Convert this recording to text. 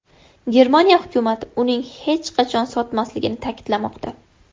Germaniya hukumati uning hech qachon sotilmasligini ta’kidlamoqda.